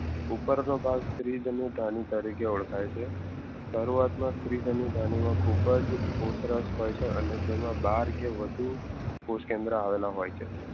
ઉપરનો ભાગ સ્ત્રી ધ્રિજનધણી ઓળખાય છે શરૂઆતમાં સ્ત્રી ધ્રિજનધણી ખુબ જ કોતરસ હોય છે અને તેમાં બાર કે વધુ પોષકેન્દ્ર અવળા હોઈ છે